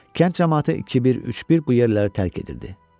Kənd camaatı iki bir, üç bir bu yerləri tərk edirdi.